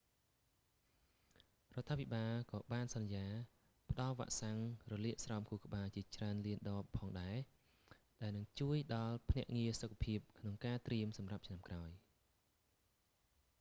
រដ្ឋាភិបាលក៏បានសន្យាផ្ដល់វ៉ាក់សាំងរលាកស្រោមខួរក្បាលជាច្រើនលានដបផងដែរ ដែលនឹងជួយដល់ភ្នាក់ងារសុខភាពក្នុងការត្រៀមសម្រាប់ឆ្នាំក្រោយ